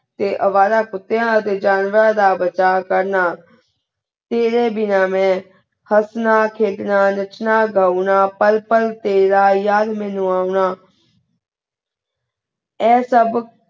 ਤੇ ਅਵਾਰਾ ਕੁਤਿਯਾ ਦੇ ਜਾਨਵਰਾਂ ਦਾ ਬਚਾ ਕਰਨਾ ਤੇਰੇ ਬਿਨਾ ਮੈਂ ਹਸਨਾ ਖ੍ਯ੍ੜਨਾ ਨਾਚਨਾ ਗੋਨਾ ਪਾਲ ਪਾਲ ਤੇਰਾ ਯਾਰ ਮਨੁ ਓਨਾ ਆਯ ਸਬ